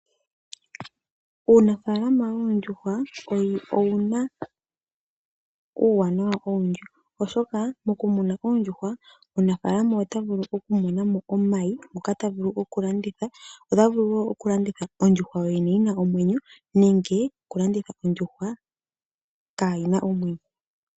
Uunafalama woondjuhwa owo owuna uuwanawa owundji oshoka moku muna oondjuhwa omunafalama ota vulu oku monamo omayi ngoka ta vulu oku landitha, ota vulu wo oku landitha ondjuhwa yo yene yi na omwenyo nenge oku landitha ondjuhwa kayi na omwenyo.